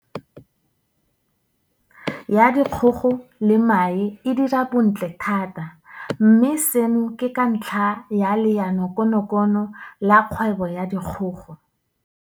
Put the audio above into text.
Ya Dikgogo le Mae e dira bontle thata mme seno ke ka ntlha ya Leanokonokono la Kgwebo ya Dikgogo.